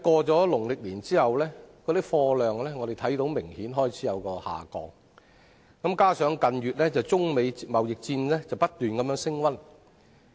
但農曆年過後，我們觀察到貨運量明顯開始下降，而近日中美貿易戰亦不斷升溫。